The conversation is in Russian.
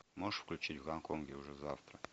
можешь включить в гонконге уже завтра